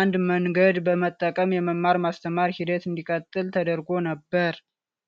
አንድ መንገድ በመጠቀም የመማር ማስተማር ሂደት እንዲቀጥል ተደርጎ ነበር።